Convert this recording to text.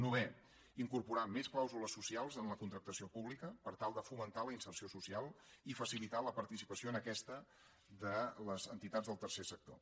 novè incorporar més clàusules socials en la contractació pública per tal de fomentar la inserció social i facilitar la participació en aquesta de les entitats del tercer sector